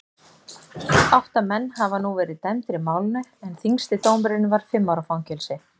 Átta menn hafa nú verið dæmdir í málinu en þyngsti dómurinn var fimm ára fangelsi.